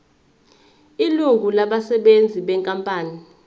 ilungu labasebenzi benkampani